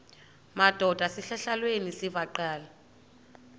madod asesihialweni sivaqal